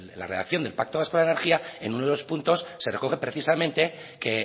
la redacción del pacto vasco de la energía en uno de los puntos se recoge precisamente que